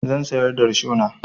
Zan sayar da rishona.